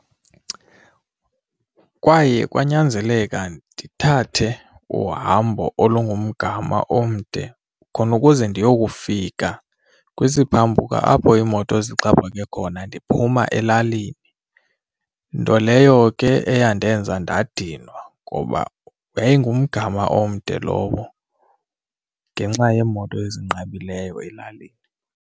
Kwaye kwanyanzeleka ndithathe uhambo olungumgama omde khona ukuze ndiyokufika kwisiphambuka apho iimoto zixhaphake khona ndiphuma elalini. Nto leyo ke eyandenza ndadinwa ngoba yayingumgama omde lowo ngenxa yeemoto ezinqabileyo elalini.